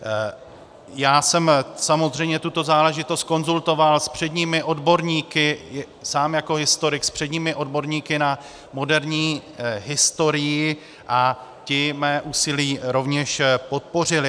Já jsem samozřejmě tuto záležitost konzultoval s předními odborníky, sám jako historik, s předními odborníky na moderní historii a ti mé úsilí rovněž podpořili.